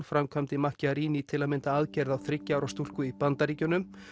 framkvæmdi til að mynda aðgerð á þriggja ára stúlku í Bandaríkjunum